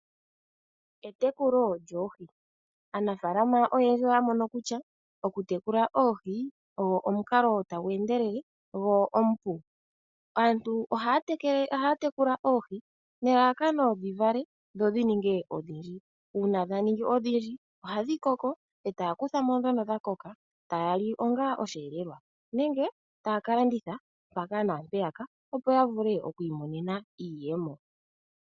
Etekulo lyoohi. Aanafaalama oyendji oya mono kutya okutekula oohi, ogwo omukalo tagu endelele, gwo omupu. Aantu ohaya tekula oohi nelalakano dhi vale, dho ninge odhindji. Uuna dha ningi odhindji, ohadhi koko eta ya kutha mo ndhono dha koka, taya li onga osheelelwa nenge taya ka landitha mpaka naampeyaka opo ya vule okwiimonena iiyemo.